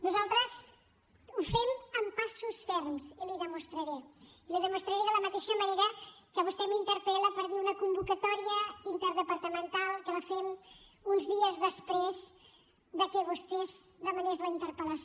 nosaltres ho fem amb passos ferms i l’hi demostraré l’hi demostraré de la mateixa manera que vostè m’interpel·la per dir una convocatòria interdepartamental que la fem uns dies després de que vostè demanés la interpel·lació